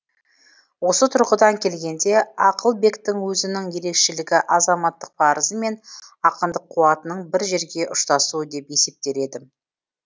осы тұрғыдан келгенде ақылбектің өзінің ерекшелігі азаматтық парызы мен ақындық қуатының бір жерге ұштасуы деп есептер едім